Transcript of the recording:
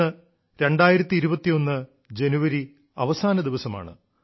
ഇന്ന് 2021 ജനുവരി അവസാന ദിവസമാണ്